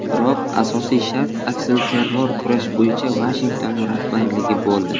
Biroq asosiy shart aksilterror kurash bo‘yicha Vashington rahbarligi bo‘ldi.